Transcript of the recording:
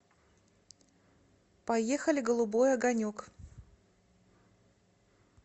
поехали голубой огонек